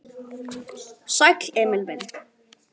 Sæll, Emil minn.